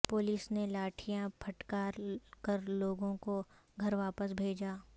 police نے لاٹھیاں پھٹکار کرلوگوں کو گھر واپس بھیجا